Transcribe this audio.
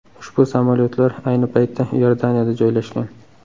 Ushbu samolyotlar ayni paytda Iordaniyada joylashgan.